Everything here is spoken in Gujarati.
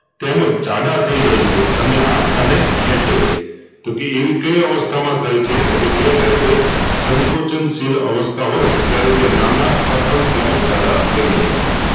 તેમજ જાડા થઈ જાય છે અને હાડકાંને ખેંચે છે તોકે એવી કઈ અવસ્થામાં થાય છે તોકે તે થાય છે સંકોચનશીલ અવસ્થા હોય ત્યારે તે નાનાં, કઠણ તેમજ જાડા થઈ જાય છે